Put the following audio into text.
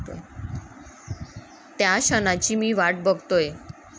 त्या क्षणाची मी वाट बघतोय.